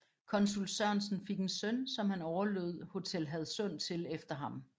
Konsul Sørensen fik en søn som han overlod Hotel Hadsund til efter han